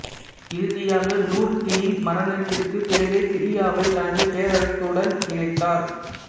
இறுதியாக நூறுதீனின் மரணத்திற்குப் பிறகே சிரியாவை தனது பேரரசுடன் இணைத்தார்